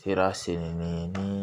Sera selen min ye ni